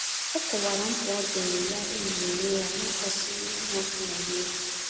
Ọ kọwara mkpa ọ diiri ya ịnọrọ onwe ya na-akpasughị onye ọbụla iwe.